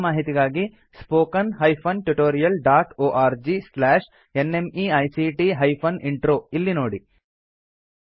ಹೆಚ್ಚಿನ ಮಾಹಿತಿಗಾಗಿ spoken hyphen tutorial dot org slash NMEICT hyphen intro ಇಲ್ಲಿ ನೋಡಿ